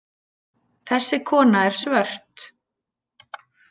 Þessi kona er svört.